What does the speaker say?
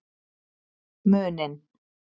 Muninn